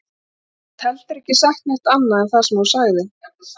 Þau aldrei staðið undir brennandi sól í ókunnu landi og séð hræðilega hluti.